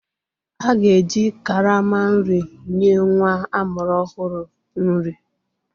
A ga-eji karama nri nye nwa amụrụ ọhụrụ nri.